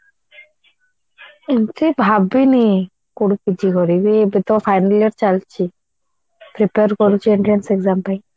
ଏମିତି ଭାବିନି କୋଉଠି PG କରିବି ଏବେ ତ final year ଚାଲିଛି prepare କରୁଛି entrance exam ପାଇଁ